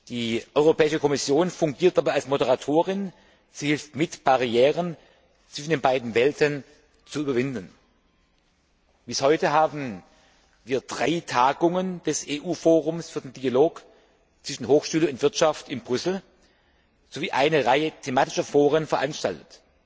Die Europäische Kommission fungiert dabei als Moderatorin, sie hilft mit, Barrieren zwischen den beiden Welten zu überwinden. Bis heute haben wir drei Tagungen des EU Forums für den Dialog zwischen Hochschule und Wirtschaft in Brüssel sowie eine Reihe thematischer Foren veranstaltet